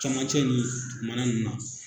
Camancɛ ni dukumana nunnu na.